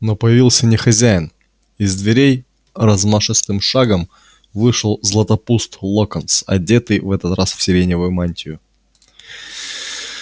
но появился не хозяин из дверей размашистым шагом вышел златопуст локонс одетый в этот раз в сиреневую мантию